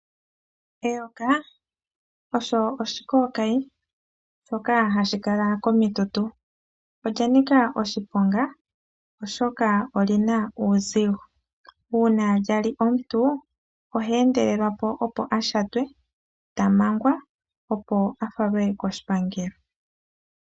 Eyoka osho oshikookayi, shoka hashi kala komitutu. Olya nika oshiponga, oshoka oli na uuzigo. Uuna lya li omuntu, ohe endelelwa po opo a shatwe, ta mangwa, opo a falwe koshipangelo.